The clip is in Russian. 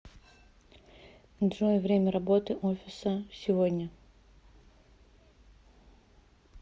джой время работы офиса сегодня